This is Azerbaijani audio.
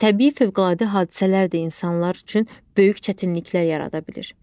Təbii fövqəladə hadisələr də insanlar üçün böyük çətinliklər yarada bilir.